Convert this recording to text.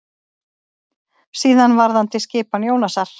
Síðan varðandi skipan Jónasar.